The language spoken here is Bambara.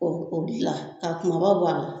Ɔ o de la ka kumaba bɔ a la.